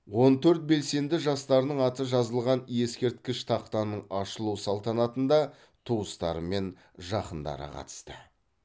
он төрт белсенді жастарының аты жазылған ескерткіш тақтаның ашылу салтанатында туыстары мен жақындары қатысты